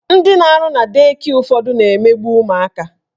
Ndị na-arụ na dei kịe ụfọdụ na-emegbu ụmụaka